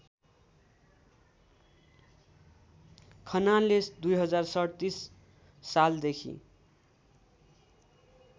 खनालले २०३७ सालदेखि